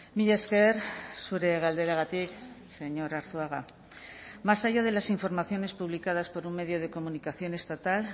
mila esker zure galderagatik señor arzuaga más allá de las informaciones publicadas por un medio de comunicación estatal